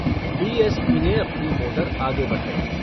D॰ S॰ P॰ ने अपनी motor आगे बढ़ायी।